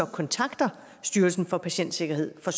kontakter styrelsen for patientsikkerhed for